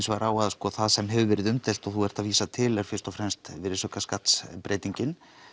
vegar á að það sem hefur verið umdeilt og þú ert að vísa til er fyrst og fremst virðisaukaskattsbreytingin